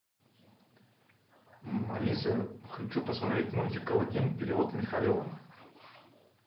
алиса хочу посмотреть мультик аладдин перевод михалева